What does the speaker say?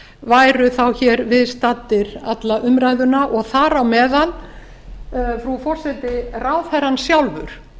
væru þá hér viðstaddir alla umræðuna og þar á meðal frú forseti ráðherrann sjálfur